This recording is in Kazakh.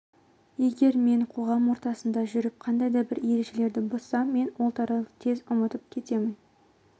егер мен қоғам ортасында жүріп қандай да бір ережелерді бұзсам мен ол туралы тез ұмытып кетемін